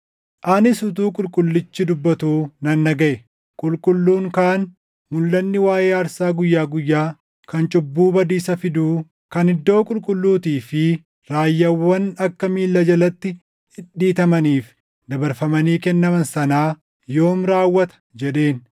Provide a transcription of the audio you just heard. Anis utuu qulqullichi dubbatuu nan dhagaʼe; qulqulluun kaan, “Mulʼanni waaʼee aarsaa guyyaa guyyaa, kan cubbuu badiisa fiduu, kan iddoo qulqulluutii fi raayyaawwan akka miilla jalatti dhidhiitamaniif dabarfamanii kennaman sanaa yoomi raawwata?” jedheen.